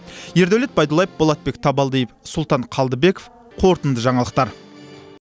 ердәулет байдуллаев болатбек табалдиев султан қалдыбеков қорытынды жаңалықтар